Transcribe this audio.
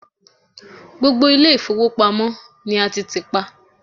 gbogbo ile ifowopamọ ni a ti ti pa